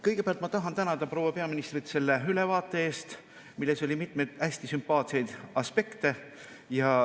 Kõigepealt ma tahan tänada proua peaministrit selle ülevaate eest, milles oli mitmeid hästi sümpaatseid aspekte.